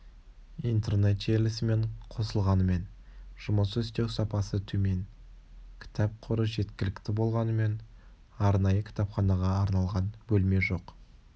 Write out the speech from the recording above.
интернет желісімен қосылғанымен жұмыс істеу сапасы төмен кітап қоры жеткілікті болғанымен арнайы кітапханаға арналған бөлме жоқ